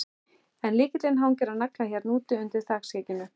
En lykillinn hangir á nagla hérna úti, undir þakskegginu.